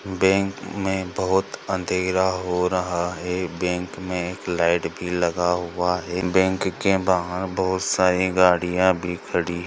Bank मे बोहउत अंधेरा हो रहा है बैंक मे एक लाइट भी लगा हुआ है बैंक के बाहर बोहउत सारी गरिया भी खरी है।